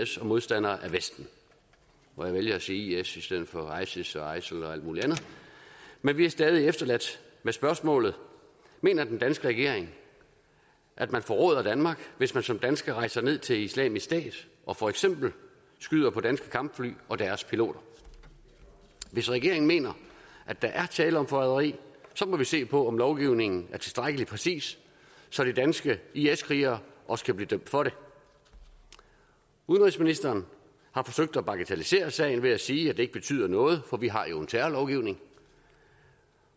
som modstandere af vesten og jeg vælger at sige i is i stedet for isis og isil og alt muligt andet men vi er stadig efterladt med spørgsmålet mener den danske regering at man forråder danmark hvis man som dansker rejser ned til islamisk stat og for eksempel skyder på danske kampfly og deres piloter hvis regeringen mener at der er tale om forræderi så må vi se på om lovgivningen er tilstrækkelig præcis så de danske is krigere også kan blive dømt for det udenrigsministeren har forsøgt at bagatellisere sagen ved at sige at det ikke betyder noget for vi har jo en terrorlovgivning